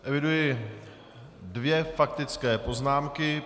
Eviduji dvě faktické poznámky.